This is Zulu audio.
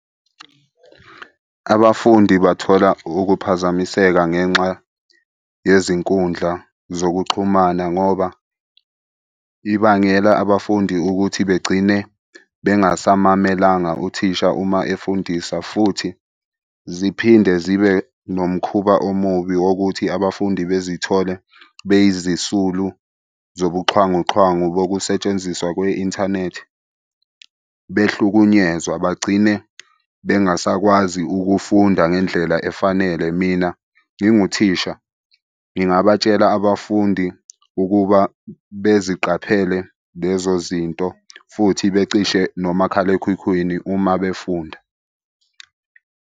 Abafundi bathola ukuphazamiseka ngenxa yezinkundla zokuxhumana ngoba ibangela abafundi ukuthi begcine bengasamamelanga uthisha uma efundisa futhi ziphinde zibe nomkhuba omubi wokuthi abafundi bezithole beyizisulu zobuxhwanguxhwangu bokusetshenziswa kwe-inthanethi behlukunyezwa. Bagcine bengasakwazi ukufunda ngendlela efanele. Mina nginguthisha, ngingabatshela abafundi ukuba beziqaphele lezo zinto futhi becishe nomakhalekhukhwini uma befunda.